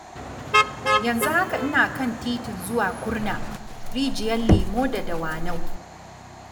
Yanzu haka ina kan titin zuwa Kurna, Rijiyar Lemo da Dawanau.